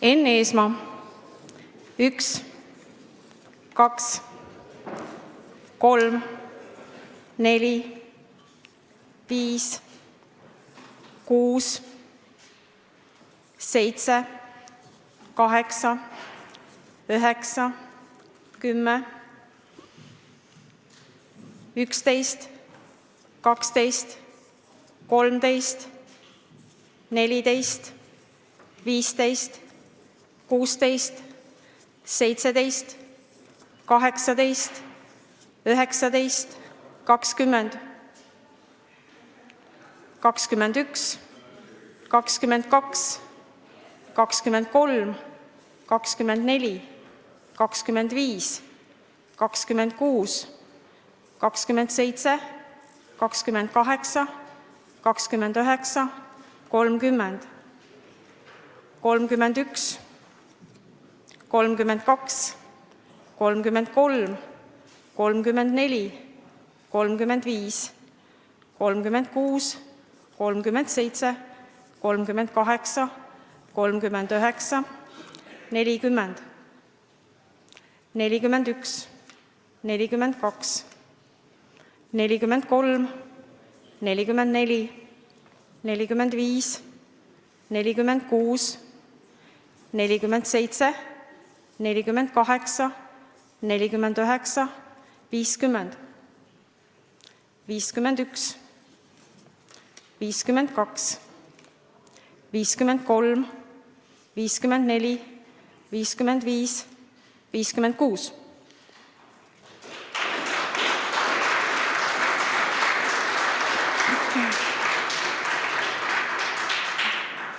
Enn Eesmaa: 1, 2, 3, 4, 5, 6, 7, 8, 9, 10, 11, 12, 13, 14, 15, 16, 17, 18, 19, 20, 21, 22, 23, 24, 25, 26, 27, 28, 29, 30, 31, 32, 33, 34, 35, 36, 37, 38, 39, 40, 41, 42, 43, 44, 45, 46, 47, 48, 49, 50, 51, 52, 53, 54, 55, 56.